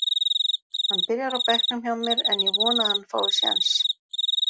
Hann byrjar á bekknum hjá mér en ég vona að hann fái séns.